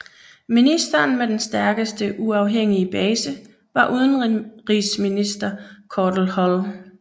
Ministeren med den stærkeste uafhængige base var udenrigsminister Cordell Hull